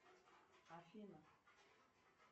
афина